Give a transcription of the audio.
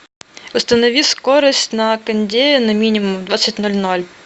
установи скорость на кондее на минимум в двадцать ноль ноль